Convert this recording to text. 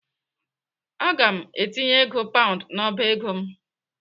Aga m etinye ego paund n'ọba ego m.